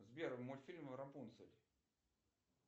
сбер мультфильм рапунцель